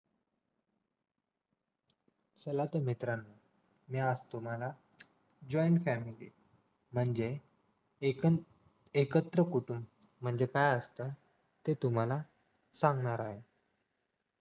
चला तर मित्रानो मी आज तुम्हाला joint family म्हणजे एक एकत्र कुटुंब म्हणजे काय असत ते तुम्हाला सांगणार आहोत